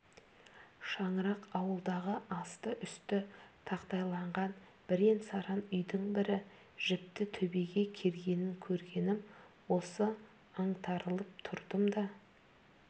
шаңырақ ауылдағы асты-үсті тақтайланған бірен-саран үйдің бірі жіпті төбеге кергенін көргенім осы аңтарылып тұрдым да